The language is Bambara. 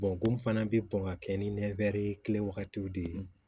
ko fana bɛ bɔn ka kɛ ni ye kelen wagatiw de ye